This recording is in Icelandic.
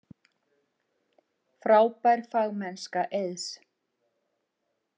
Frábær fagmennska Eiðs